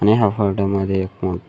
आणि या फोटो मध्ये एक--